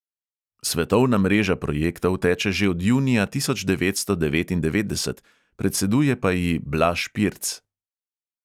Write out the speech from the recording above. Svetovna mreža projektov teče že od junija tisoč devetsto devetindevetdeset, predseduje pa ji blaž pirc.